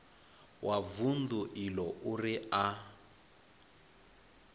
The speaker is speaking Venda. wa vundu iḽo uri a